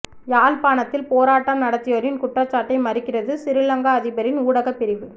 யாழ்ப்பாணத்தில் போராட்டம் நடத்தியோரின் குற்றச்சாட்டை மறுக்கிறது சிறிலங்கா அதிபரின் ஊடகப் பிரிவு